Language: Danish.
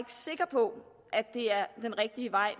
sikker på at det er den rigtige vej